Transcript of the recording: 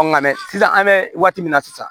Nka mɛ sisan an bɛ waati min na sisan